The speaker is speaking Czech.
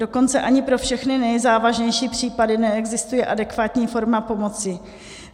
Dokonce ani pro všechny nejzávažnější případy neexistuje adekvátní forma pomoci.